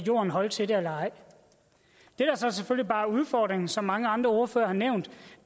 holde til det eller ej det der så selvfølgelig bare er udfordringen som mange andre ordførere har nævnt